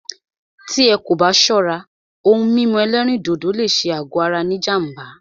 Tí ẹ́ kò bá ṣọ́rá, òhún mímú ẹ̀lẹ́rìndodò lé ṣé àgọ ara ní jám̀bá.